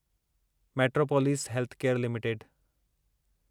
metropolis Healthcare limited